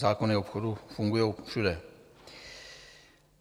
Zákony obchodu fungují všude.